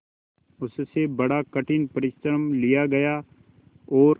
उससे बड़ा कठिन परिश्रम लिया गया और